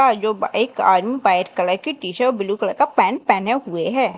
जो एक आदमी व्हाइट कलर की टी_शर्ट ब्लू कलर का पैंट पहने हुए है।